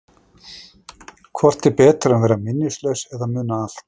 Hvort er betra að vera minnislaus eða muna allt?